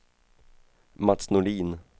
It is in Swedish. Mats Nordin